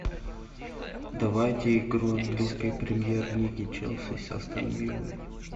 давайте игру английской премьер лиги челси с астон виллой